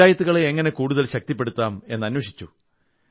പഞ്ചായത്തുകളെ എങ്ങനെ കൂടുതൽ ശക്തിപ്പെടുത്താം എന്നന്വേഷിച്ചു